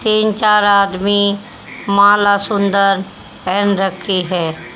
तीन चार आदमी माला सुंदर पहन रखी है।